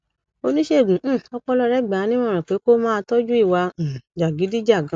oníṣègùn um ọpọlọ rẹ gbà á nímọràn pé kó máa tọjú ìwà um jàgídíjàgan